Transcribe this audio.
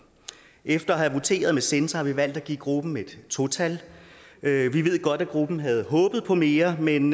efter at have voteret med censor har vi valgt at give gruppen et to tal vi ved godt at gruppen havde håbet på mere men